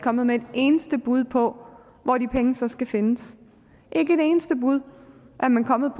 kommet med et eneste bud på hvor de penge så skal findes ikke et eneste bud er man kommet